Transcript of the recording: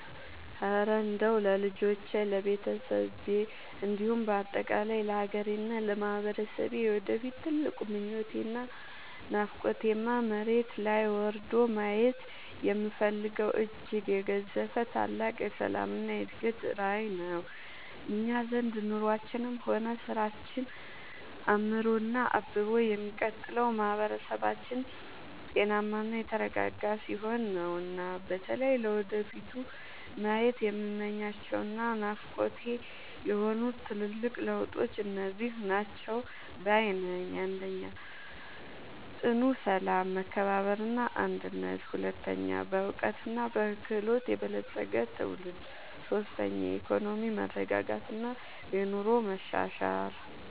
እረ እንደው ለልጆቼ፣ ለቤተሰቤ እንዲሁም በአጠቃላይ ለሀገሬና ለማህበረሰቤ የወደፊት ትልቁ ምኞቴና ናፍቆቴማ፣ መሬት ላይ ወርዶ ማየት የምፈልገው እጅግ የገዘፈ ታላቅ የሰላምና የእድገት ራዕይ ነው! እኛ ዘንድ ኑሯችንም ሆነ ስራችን አምሮና አብቦ የሚቀጥለው ማህበረሰባችን ጤናማና የተረጋጋ ሲሆን ነውና። በተለይ ለወደፊቱ ማየት የምመኛቸውና ናፍቆቴ የሆኑት ትልልቅ ለውጦች እነዚህ ናቸው ባይ ነኝ፦ 1. ጽኑ ሰላም፣ መከባበርና አንድነት 2. በዕውቀትና በክህሎት የበለፀገ ትውልድ 3. የኢኮኖሚ መረጋጋትና የኑሮ መሻሻል